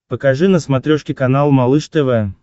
покажи на смотрешке канал малыш тв